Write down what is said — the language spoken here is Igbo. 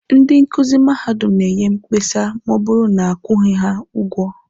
Ndị nkuzi madadum na-enye mkpesa ma ọ bụrụ na akwụghị ha ụgwọ.